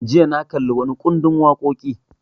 Jiya na kalli wani ƙundin waƙoƙi